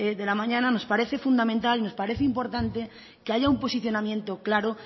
de la mañana nos parece fundamental y nos parece importante que haya un posicionamiento claro